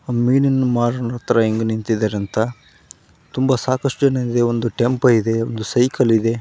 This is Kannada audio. ಮೀನಿನ ಮಾರುತರು ಹೆಂಗೆ ನಿಂತಿದ್ದಾರೆ ಅಂತ ತುಂಬಾ ಸಾಕಷ್ಟು ಜನ ಇದೆ ಒಂದು ಟೆಂಪೋ ಇದೆ ಒಂದು ಸೈಕಲ್ ಇದೆ .